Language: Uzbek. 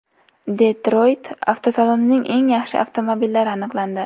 Detroyt avtosalonining eng yaxshi avtomobillari aniqlandi .